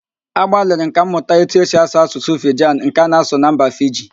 Agbalịrị m ka m mụta etu esi asụ Asụsụ Fijan nke a na-asụ na mba Fiji